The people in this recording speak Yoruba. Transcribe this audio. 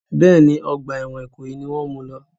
Bẹ́ẹ̀ni, ọgbà ẹ̀wọ̀n Ìkòyí mú u lọ.